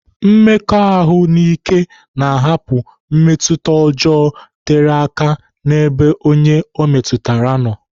Mmekọahụ n'ike na-ahapụ mmetụta ọjọọ tere aka n'ebe onye ọ metụtara nọ.